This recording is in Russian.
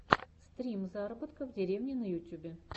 стрим заработка в деревне на ютюбе